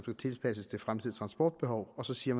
tilpasses det fremtidige transportbehov og så siger